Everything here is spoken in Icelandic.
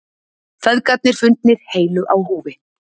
Feðgarnir fundnir heilir á húfi